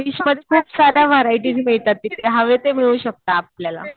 फिशमध्ये खूप साऱ्या व्हरायटीज मिळतात. तिथे हवं ते मिळू शकतं आपल्याला.